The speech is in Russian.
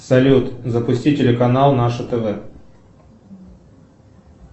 салют запусти телеканал наше тв